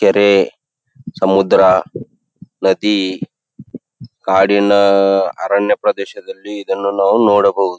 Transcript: ಕೆರೆ ಸಮುದ್ರ ನದಿ ಕಾಡಿನ ಅರಣ್ಯ ಪ್ರದೇಶದಲ್ಲಿಇದನ್ನು ನಾವು ನೋಡಬಹುದು.